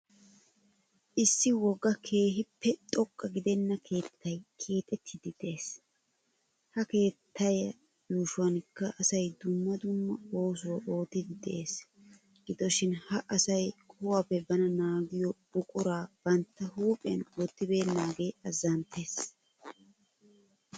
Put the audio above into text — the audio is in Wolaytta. Issi wogga keehiippe xoqqa gidenna keettaay keexxettidi de'ees. Ha kettaa yuushshuwankka asay dumma dumma oosuwaa oottidi dees. Gidoshiin ha asay qohuwaappe bana naagiyo buqquraa bantta huphphiyan wottibeenaagee azanttees.